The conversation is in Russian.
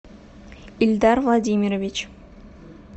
ильдар владимирович